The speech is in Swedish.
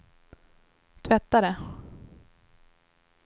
tvättare